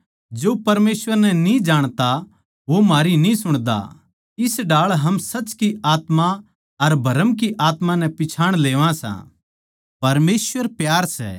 हे प्यारे बिश्वासी भाईयो हम आप्पस म्ह प्यार करां क्यूँके प्यार परमेसवर की ओड़ तै सै जो कोए प्यार करै सै वो परमेसवर की ऊलाद सै अर वो परमेसवर नै जाणै सै